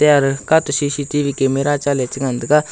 kate C_C_T_V camera chale chengan tega.